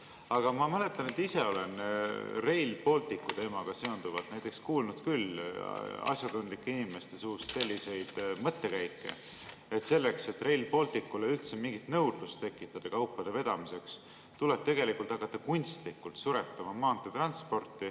" Aga ma mäletan, et ise olen Rail Balticu teemaga seonduvalt näiteks kuulnud küll asjatundlike inimeste suust selliseid mõttekäike: selleks, et Rail Balticule üldse mingit nõudlust tekitada kaupade vedamiseks, tuleb hakata kunstlikult suretama maanteetransporti.